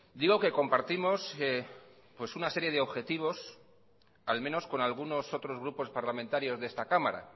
digo que compartimos una serie de objetivos al menos con algunos otros grupos parlamentarios de esta cámara